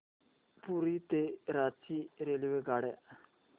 पुरी ते रांची रेल्वेगाड्या